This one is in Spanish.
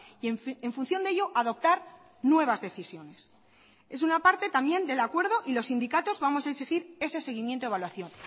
y en función de ello adoptar nuevas decisiones es una parte también del acuerdo y los sindicatos vamos a exigir ese seguimiento de evaluación